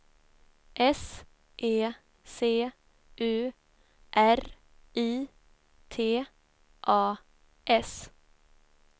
S E C U R I T A S